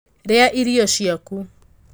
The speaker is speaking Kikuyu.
Rīa irio ciaku.